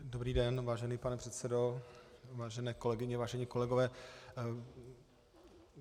Dobrý den, vážený pane předsedo, vážené kolegyně, vážení kolegové.